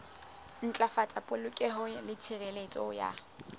ntlafatsa polokeho le tshireletso ya